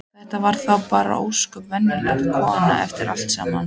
Þetta var þá bara ósköp venjuleg kona eftir allt saman.